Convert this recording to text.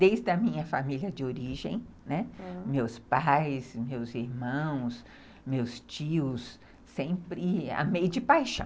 Desde a minha família de origem, né, meus pais, meus irmãos, meus tios, sempre amei de paixão.